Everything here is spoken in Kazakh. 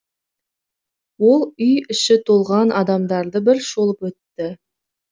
ол үй іші толған адамдарды бір шолып өтті